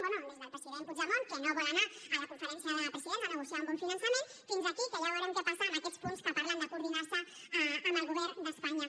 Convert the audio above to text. bé des del president puigdemont que no vol anar a la conferència de presidents a negociar un bon finançament fins a aquí que ja veurem què passa amb aquests punts que parlen de coordinar se amb el govern d’espanya